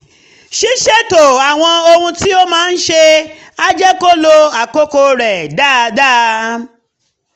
ṣíṣètò àwọn ohun tí o máa ń ṣe á jẹ́ kó o lo àkókò rẹ dáadáa